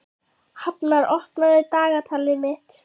Hafnar, opnaðu dagatalið mitt.